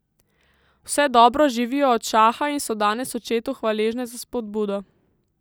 Vse dobro živijo od šaha in so danes očetu hvaležne za spodbudo.